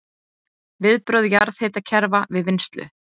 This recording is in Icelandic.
Viðbrögð jarðhitakerfa við vinnslu